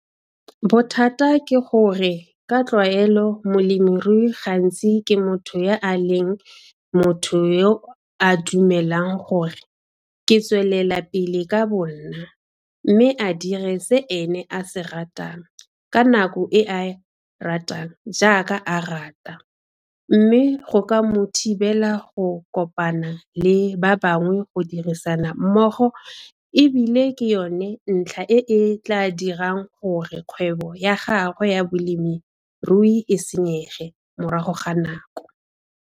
Bothata ke gore ka tlwaelo molemirui gantsi ke motho ya a leng motho yo a dumelang gore 'ke tswelela pele ka bonna' mme a dire se ene a se ratang, ka nako e a ratang jaaka a ratang mme go ka mo thibela go kopana le ba bangwe go dirisana mmogo e bile ke yona ntlha e e tla dirang gore kgwebo ya gagwe ya bolemirui e senyege morago ga nako.